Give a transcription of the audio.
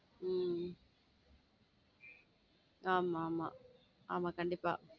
உம் ஆமா ஆமா ஆமா கண்டிப்பா.